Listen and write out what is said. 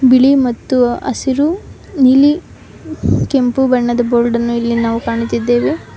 ಬಿಳಿ ಮತ್ತು ಹಸಿರು ನೀಲಿ ಕೆಂಪು ಬಣ್ಣದ ಬೋರ್ಡ್ ಅನ್ನು ಇಲ್ಲಿ ನಾವು ಇಲ್ಲಿ ಕಾಣುತ್ತಿದ್ದೇವೆ.